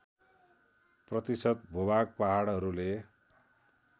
प्रतिशत भूभाग पहाडहरूले